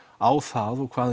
á það og hvað